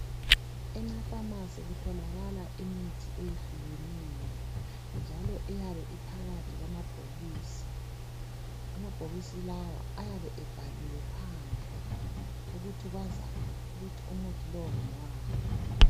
Emafamasi kutholakala imithi eyehlukeneyo njalo eyabe iphakathi kwamabhokisi. Amabhokisi lawa ayabe ebhaliwe phandle ukuthi kwazakale ukuthi umuthi lo ngowani.